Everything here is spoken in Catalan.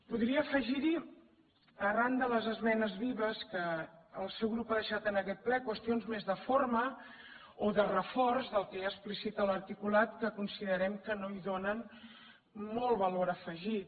podria afegir hi arran de les esmenes vives que el seu grup ha deixat en aquest ple qüestions més de forma o de reforç del que ja explicita l’articulat que considerem que no hi donen molt valor afegit